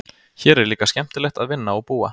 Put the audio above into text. Hér er líka skemmtilegt að vinna og búa.